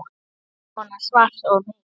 Svona svart og mikið.